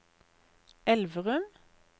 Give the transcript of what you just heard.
Elverum